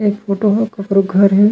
ये फोटो में ककरो घर है।